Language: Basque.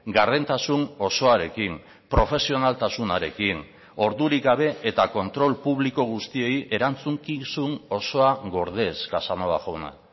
gardentasun osoarekin profesionaltasunarekin ordurik gabe eta kontrol publiko guztiei erantzukizun osoa gordez casanova jauna